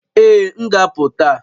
Ee, m ga-apụ taa